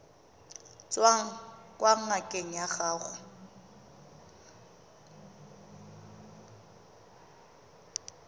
tswang kwa ngakeng ya gago